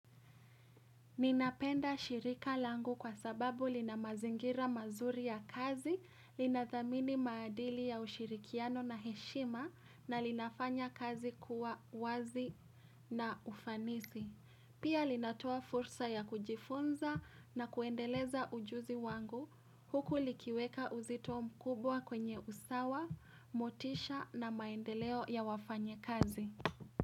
Ninapenda shirika langu kwa sababu lina mazingira mazuri ya kazi, linathamini maadili ya ushirikiano na heshima na linafanya kazi kuwa wazi na ufanisi. Pia linatoa fursa ya kujifunza na kuendeleza ujuzi wangu huku likiweka uzito mkubwa kwenye usawa, motisha na maendeleo ya wafanyi kazi.